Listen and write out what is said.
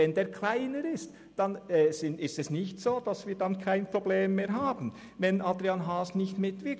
Wenn er aber kleiner ist, dann ist es nicht so, dass wir kein Problem mehr haben, wenn Adrian Haas nicht mitwirkt.